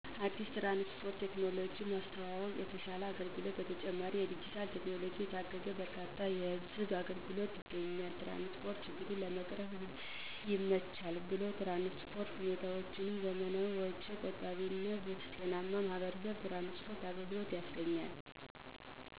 አዲስ የትራንስፖርት ቴክኖሎጂ ማስተዋወቅ የተሸለ አገልግሎት በተጨማሪ የዲጂታል ቴክኖሎጂ የታገዘ በርካታ የህዝብ አገልግሎትች ይገኛል። የትራንስፖርት ችግሩን ለመቅረፍ ይመቻል ብሎም የትራንስፖርት ሁኔታዎችም ዘመናዊ ወጭ ቆጣቢ እና ጤናማ የማህበረሰብ የትራንስፖርት አገልግሎት ያስገኛል